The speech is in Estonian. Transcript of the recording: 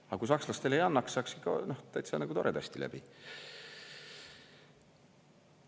Aga kui sakslastele ei annaks, saaks ikka täitsa nagu toredasti läbi.